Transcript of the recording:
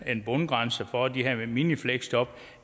bundgrænse for de her minifleksjob